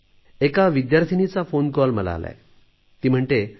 एक फोनकॉल मला आला त्या म्हणतात